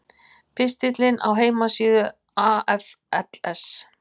Pistillinn á heimasíðu AFLs